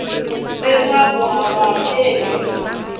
leswaku a ku nga ri